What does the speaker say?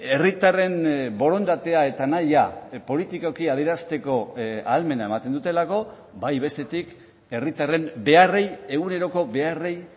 herritarren borondatea eta nahia politikoki adierazteko ahalmena ematen dutelako bai bestetik herritarren beharrei eguneroko beharrei